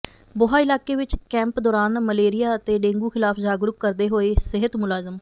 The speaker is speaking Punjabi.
ਬੋਹਾ ਇਲਾਕੇ ਵਿੱਚ ਕੈਂਪ ਦੌਰਾਨ ਮਲੇਰੀਆ ਅਤੇ ਡੇਂਗੂ ਖ਼ਿਲਾਫ਼ ਜਾਗਰੂਕ ਕਰਦੇ ਹੋਏ ਸਿਹਤ ਮੁਲਾਜ਼ਮ